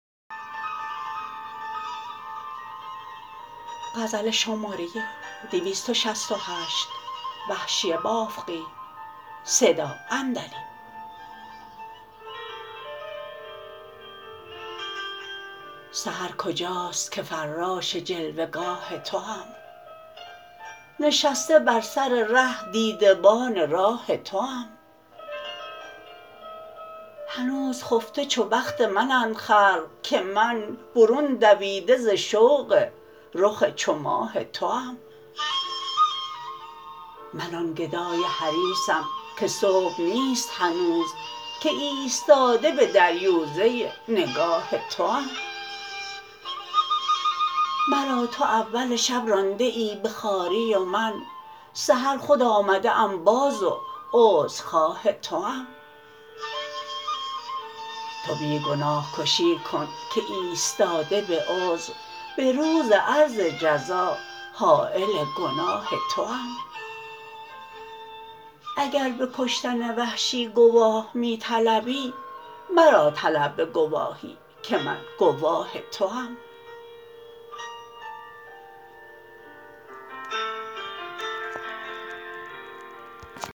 سحر کجاست که فراش جلوه گاه توام نشسته بر سر ره دیده بان راه توام هنوز خفته چو بخت منند خلق که من برون دویده ز شوق رخ چو ماه توام من آن گدای حریصم که صبح نیست هنوز که ایستاده به دریوزه نگاه توام مرا تو اول شب رانده ای به خواری ومن سحر خود آمده ام باز و عذر خواه توام تو بی گناه کشی کن که ایستاده به عذر به روز عرض جزا حایل گناه توام اگر به کشتن وحشی گواه می طلبی مرا طلب به گواهی که من گواه توام